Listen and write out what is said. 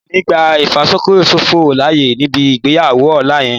Mi ò ní gbá ìfàkókòṣòfò láyè níbi ìgbéyàwó ọ̀la yẹn